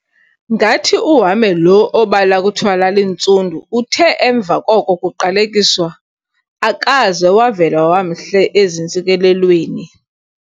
Ngathi uHame lo obala kuthiwa lalintsundu uthe emva koko kuqalekiswa, akaze wavela wamhle ezintsikelelweni.